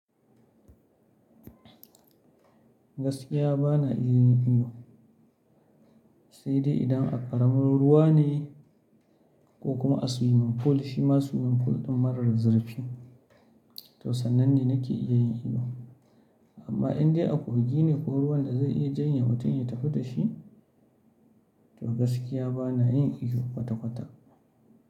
Gaskiya ba na iya yin iyo, sai dai idan a ƙaramin ruwa ne ko kuma a suwimin pool shi ma suwimin pool ɗin marar zurfi, to sannan ne nake iya yin iyo. Amma in dai a kogi ne ko ruwan da zai iya janye mutum ya tafi da shi, to gaskiya ba na yin iyo kwata-kwata.